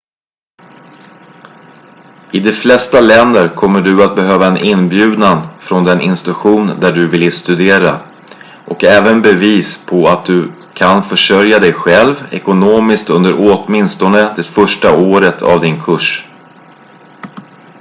i de flesta länder kommer du att behöva en inbjudan från den institution där du vill studera och även bevis på att du kan försörja dig själv ekonomiskt under åtminstone det första året av din kurs